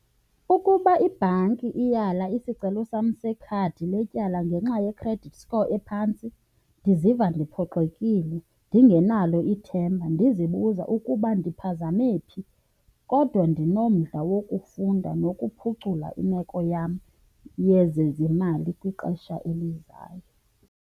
Ukuba ibhanki iyala isicelo sam sekhadi letyala ngenxa ye-credit score ephantsi ndiziva ndiphoxekile, ndingenalo ithemba, ndizibuza ukuba ndiphazame phi. Kodwa ndinomdla wokufunda nokuphucula imeko yam yezezimali kwixesha elizayo.